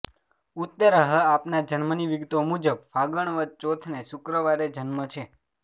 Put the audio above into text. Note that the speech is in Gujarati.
ઉત્તરઃ આપના જન્મની વિગતો મુજબ ફગણ વદ ચોથને શુક્રવારે જન્મ છે